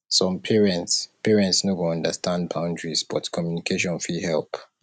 some parents parents no go understand boundaries but communication fit help